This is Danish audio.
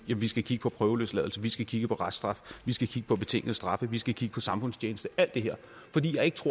vi skal kigge på prøveløsladelse vi skal kigge på reststraf vi skal kigge på betingede straffe vi skal kigge på samfundstjeneste alt det her det